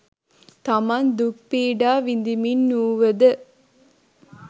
තමන් දුක් පීඩා විඳිමින් වූවද